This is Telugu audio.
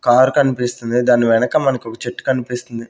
కారు కనిపిస్తుంది దాని వెనక మనకి ఒక చెట్టు కనిపిస్తుంది.